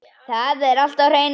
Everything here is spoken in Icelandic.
Það er allt á hreinu